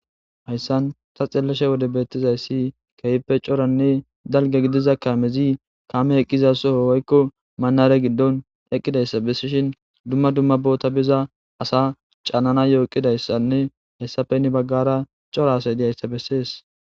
Hayssan ta xellashe wode beettizayssi keehppe coranne dalge gidiza kaamezi kaame heqqiza soho woykko manare giddon eqqidayssa bessishin dumma dumma boota biza asa caanana yooqidayssanne hessafenni baggara cora asay diyayssa bessees.